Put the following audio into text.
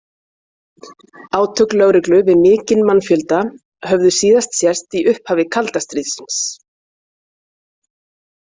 Átök lögreglu við mikinn mannfjölda höfðu síðast sést í upphafi kalda stríðsins.